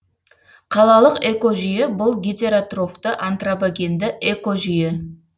қалалық экожүйе бұл гетеротрофты антропогенді экожүйе